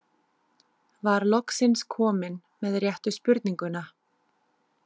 Var loksins komin með réttu spurninguna.